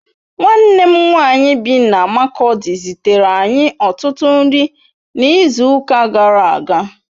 Nwanne m nwanyị bi na Makurdi zitere anyị ọtụtụ nri n'izuụka gara aga